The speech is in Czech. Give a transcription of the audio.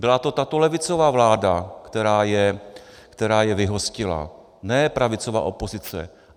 Byla to tato levicová vláda, která je vyhostila, ne pravicová opozice.